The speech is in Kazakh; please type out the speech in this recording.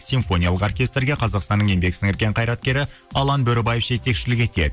симфониялық оркестрге қазақстанның еңбек сіңірген қайраткері алан бөрібаев жетекшілік етеді